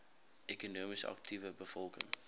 ekonomies aktiewe bevolking